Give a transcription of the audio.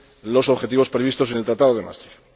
los objetivos previstos en el Tratado de Maastricht.